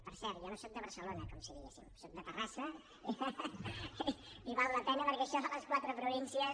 per cert jo no soc de barcelona com si diguéssim soc de terrassa i val la pena perquè això de les quatre províncies